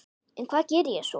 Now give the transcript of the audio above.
En hvað geri ég svo?